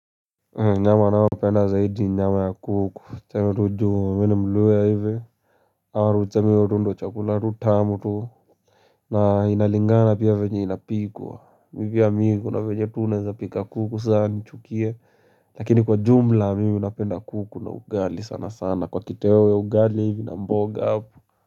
Nyama nayopenda zaidi ni nyama ya kuku teme tu juo mini mluhya hivi. Aru teme urundo chakula tu tamu tu. Na inalingana pia na venye inapikwa mipia migu na veje tuneza pika kuku sana nchukie lakini kwa jumla mimi napenda kuku na ugali sana sana kwa kitewewe ugali hivi na mboga apu.